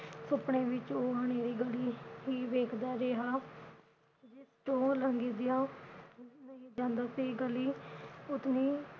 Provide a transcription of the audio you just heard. ਸੁਪਨੇ ਵਿਚ ਉਹ ਹਨੇਰੀ ਗਲੀ ਹੀ ਵੇਖਦਾ ਰਿਹਾ। ਜਿਸ ਤੋਂ ਲੰਘਦਿਆਂ ਜਾਂਦਾ ਸੀ ਗਲੀ ਉਤਨੀ